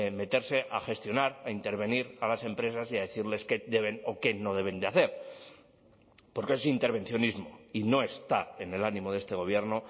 meterse a gestionar a intervenir a las empresas y a decirles qué deben o qué no deben de hacer porque es intervencionismo y no está en el ánimo de este gobierno